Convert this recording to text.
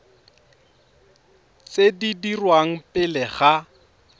tse di dirwang pele ga